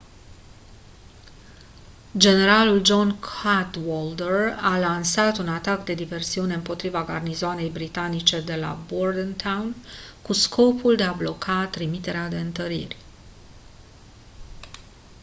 generalul john cadwalder a lansat un atac de diversiune împotriva garnizoanei britanice de la bordentown cu scopul de a bloca trimiterea de întăriri